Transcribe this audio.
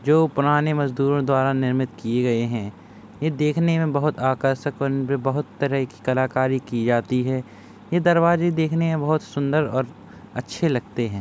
जो पुराने मजदूरों द्वारा निर्मित किये गये हैं। ये देखने में बहोत आकर्षक बहोत तरह की कलाकारी की जाती हैं। ये दरवाजे देखने में बहोत सुंदर और अच्छे लगते हैं।